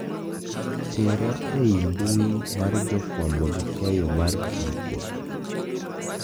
Tera ei mbui mar jofwambo gi keyo mar tuko